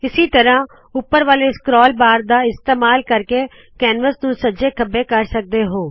ਇਸੀ ਤਰਹ ਉਪਰ ਵਾਲੇ ਸਕਰੋਲ ਬਾਰ ਦਾ ਇਸਤੇਸਾਲ ਕਰਕੇ ਕੈਨਵਸ ਨੂ ਸੱਜੇ ਖੱਬੇ ਕਰ ਸਕਦੇ ਹੋ